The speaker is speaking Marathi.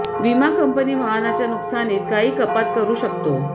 विमा कंपनी वाहनाच्या नुकसानीत काही कपात करू शकतो